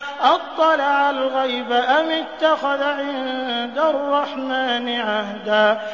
أَطَّلَعَ الْغَيْبَ أَمِ اتَّخَذَ عِندَ الرَّحْمَٰنِ عَهْدًا